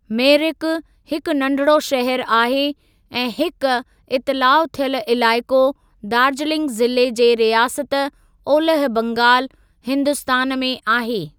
मेरिक हिकु नंढिड़ो शहर आहे ऐं हिक इतिलाउ थियल इलाइक़ो दार्जिलिंग ज़िले जे रियासत ओलह बंगालु, हिन्दुस्तान में आहे।